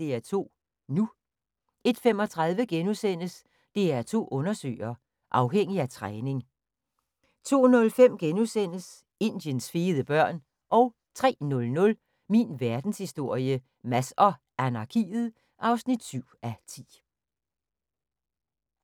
DR2 NU * 01:35: DR2 Undersøger: Afhængig af træning * 02:05: Indiens fede børn * 03:00: Min verdenshistorie - Mads og anarkiet (7:10)